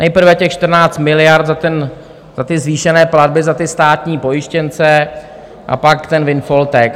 Nejprve těch 14 miliard za ty zvýšené platby za ty státní pojištěnce a pak ten windfall tax.